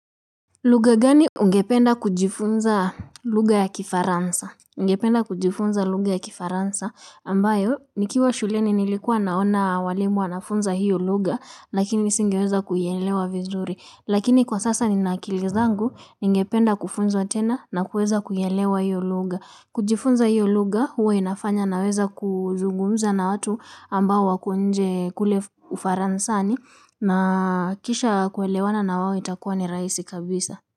Lugha gani ungependa kujifunza lugha ya kifaransa? Ningependa kujifunza lugha ya kifaransa, ambayo nikiwa shuleni nilikuwa naona walimu wanafunza hiyo lugha, lakini nisingeweza kuielewa vizuri. Lakini kwa sasa nina akili zangu, ningependa kufunzwa tena na kuweza kuielewa hiyo lugha. Kujifunza hiyo lugha huwa inafanya naweza kuzungumza na watu ambao wako nje kule ufaransani na kisha kuelewana na wao itakuwa ni raisi kabisa.